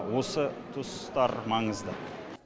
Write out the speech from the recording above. осы туыстар маңызды